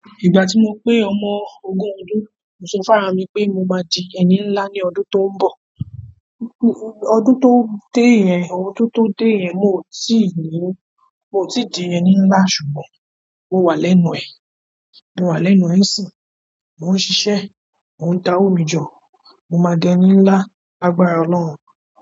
Ìgbà tí mo pé ọmọ ogún ọdún, mo sọ fún ara mi pé mo máa di ẹni nlá ní ọdún tó ń bọ̀. Ọdún tó dé yẹn, ọdún tó dé yẹn, mi ò ì tíì ní—mi ò ì tíì di ẹni nlá, ṣùgbọ́n mo wà lẹ́nu ẹ̀, mo wà lẹ́nu ẹ̀ nísìnyí, mò ń ṣiṣẹ́, mò ń dáwó mi jọ, mo máa di ẹni nlá lágbára Ọlọ́run.